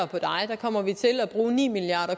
på dig kommer vi til at bruge ni milliard